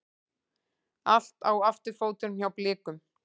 Allt á afturfótunum hjá Blikum